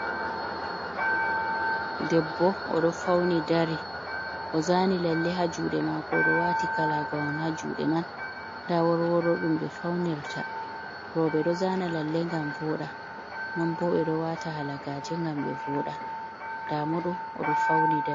Ɗebbo oɗo fauni ɗari ozani lalle ha juɗe mako oɗo wati Kalagawon ha juɗe man nda worworo ɗum ɓe faunirta roɓe ɗo zani lalle ngam voda nonɓo ɓe ɗo wata halagaje ngam ɓe voɗa damoɗo oɗo fauni ɗari.